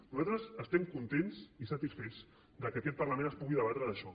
nosaltres estem contents i satisfets que en aquest parlament es pugui debatre sobre això